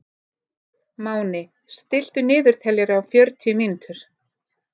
Máni, stilltu niðurteljara á fjörutíu mínútur.